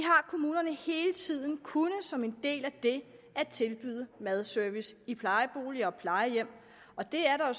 kommunerne hele tiden kunnet som en del af det at tilbyde madservice i plejeboliger og plejehjem og det er der